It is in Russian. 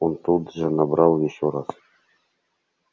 он тут же набрал ещё раз